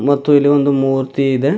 ಮತ್ತು ಇಲ್ಲಿ ಒಂದು ಮೂರ್ತಿ ಇದೆ.